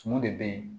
Tumu de bɛ yen